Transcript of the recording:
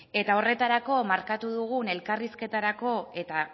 eta horretarako markatu dugun elkarrizketarako eta